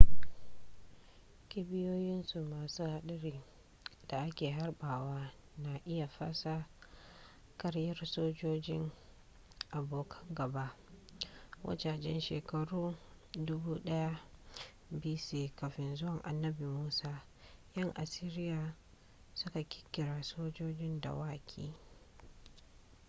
kibiyoyinsu masu hadari da ake harbawa na iya fasa kariyar sojojin abokan gaba. wajajen shekaru 1000 b.c.kafin zuwan annabi musa yan asiriya su ka kirkiri sojojin dawaki